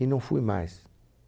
E não fui mais.